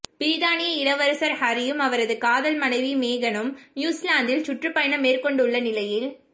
பிரித்தானிய இளவரசர் ஹரியும் அவரது காதல் மனைவி மேகனும் நியூஸிலாந்தில் சுற்றுப்பயணம் மேற்கொண்டுள்ள நிலையில்